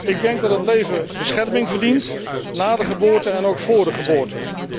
Ik denk dat het leven bescherming verdient na de geboorte en ook vóór de geboorte.